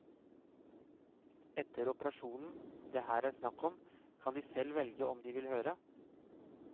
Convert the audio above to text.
Etter operasjonen det her er snakk om, kan de selv velge om de vil høre.